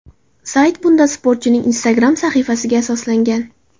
Sayt bunda sportchining Instagram sahifasiga asoslangan.